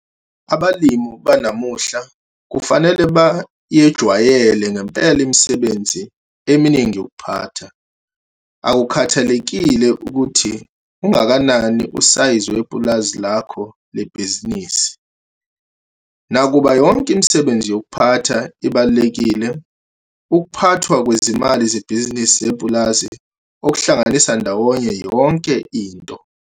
Abalimi banamuhla kufanele bayejwayele ngempela imisebenzi eminingi yokuphatha, akukhathalekile ukuthi ungakanani usayizi wepulazi lakho lebhizinisi. Nakuba yonke imisebenzi yokuphatha ibalulekile, ukuphathwa kwezimali zebhizinisi lepulazi okuhlanganisa ndawonye yonke into.